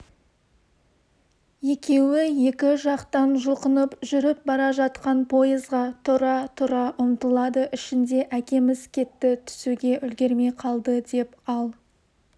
екеуі екі жақтан жұлқынып жүріп бара жатқан пойызға тұра-тұра ұмтылады ішінде әкеміз кетті түсуге үлгірмей қалды деп ал